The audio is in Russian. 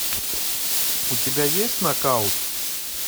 у тебя есть нокаут